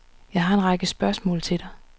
Jeg har en række spørgsmål til dig.